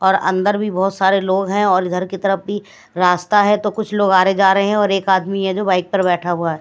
और अंदर भी बहुत सारे लोग हैं और इधर की तरफ भी रास्ता है तो कुछ लोग आ रहे जा रहे हैं और एक आदमी है जो बाइक पर बैठा हुआ है।